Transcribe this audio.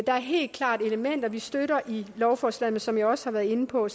der er helt klart elementer vi støtter i lovforslaget men som jeg også har været inde på